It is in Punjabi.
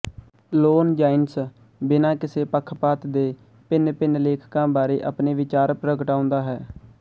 ਲੋਨਜਾਈਨਸ ਬਿਨਾਂ ਕਿਸੇ ਪੱਖਪਾਤ ਦੇ ਭਿੰਨ ਭਿੰਨ ਲੇਖਕਾਂ ਬਾਰੇ ਆਪਣੇ ਵਿਚਾਰ ਪ੍ਰਗਟਾਉਂਦਾ ਹੈ